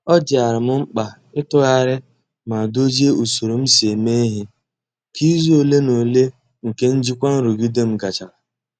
Ọ dịara m mkpa ịtọgharị ma dozie usoro m si eme ihe ka izu ole na ole nke ijikwa nrụgide m gachara.